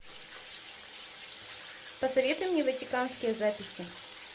посоветуй мне ватиканские записи